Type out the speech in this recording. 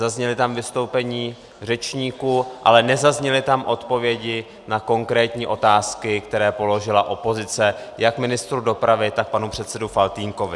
Zazněla tam vystoupení řečníků, ale nezazněly tam odpovědi na konkrétní otázky, které položila opozice jak ministru dopravy, tak panu předsedovi Faltýnkovi.